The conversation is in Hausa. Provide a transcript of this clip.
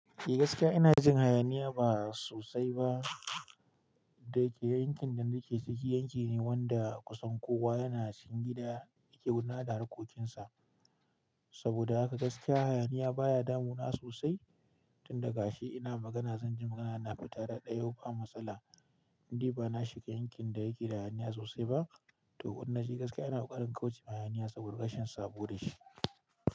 Eh gaskiya ina jin hayaniya ba sosai ba. Da yake yankin da nake ciki, yanki ne wanda kusan kowa yana cikin gida yake wula da harkokinsa. Saboda haka gaskiya hayaniya baya damuna sosai. Tunda gashi ina magana zan ji magana na fita taɗayau ba matsala. In dai ba na shiga yankin da yake da hayaniya sosai ba. To wannan shi gaskiya ina ƙoƙarin kaucewa hayaniya, saboda rashin sabo da shi.